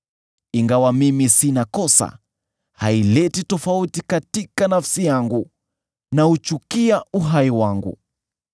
“Ingawa mimi sina kosa, haileti tofauti katika nafsi yangu; nauchukia uhai wangu.